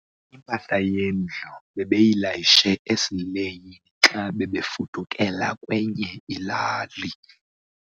Impahla yendlu bebeyilayishe esileyini xa bebefudukela kwenye ilali.